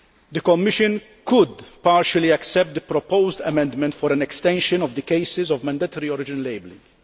The Commission could partially accept the proposed amendment for an extension of the cases of mandatory origin labelling.